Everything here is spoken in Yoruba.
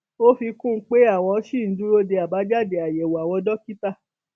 ó fi kún un pé àwọn ṣì ń dúró de àbájáde àyẹwò àwọn dókítà